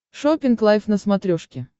шоппинг лайв на смотрешке